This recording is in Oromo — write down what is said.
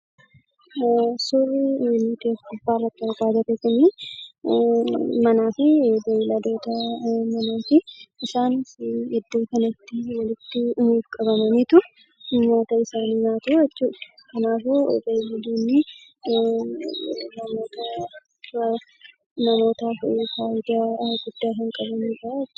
Suurri nuti asirratti argaa jirru kun suura manaa fi beelladoota manaati. Isaanis iddoo kanatti walitti qabamanii nyaata isaanii nyaachaa jiru. Kanaafuu beelladootni namootaaf faayidaa hedduu kan qabanidhaa jechuudha.